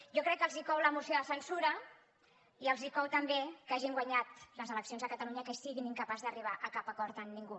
jo crec que els cou la moció de censura i els cou també que hagin guanyat les eleccions a catalunya i que siguin incapaços d’arribar a cap acord amb ningú